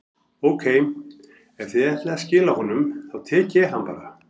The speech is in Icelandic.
Ókei, ef þið ætlið að skila honum, þá tek ég hann bara.